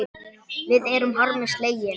Við erum harmi slegin.